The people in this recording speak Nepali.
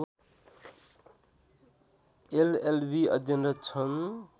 एलएलवी अध्ययनरत छन्